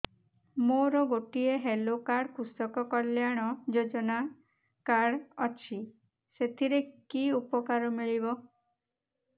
ମୋର ଗୋଟିଏ health card କୃଷକ କଲ୍ୟାଣ ଯୋଜନା କାର୍ଡ ଅଛି ସାଥିରେ କି ଉପକାର ମିଳିବ